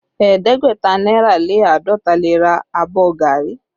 Ẹ̀ẹ́dẹ́gbẹ̀ta náírà lé àádọ́ta lè ra àbọ̀ gari